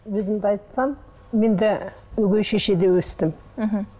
өзімді айтсам мен де өгей шешеде өстім мхм